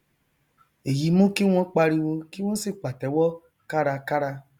èyí mú kí wọn pariwo kí wọn sì pàtẹwọ kárakára